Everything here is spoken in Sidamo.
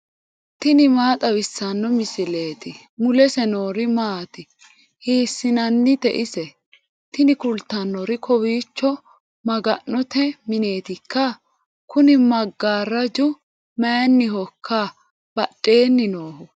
tini maa xawissanno misileeti ? mulese noori maati ? hiissinannite ise ? tini kultannori kowiichi maga'note mineetikka ? kuni maggaaraju mayinihoikka badhhenni noohu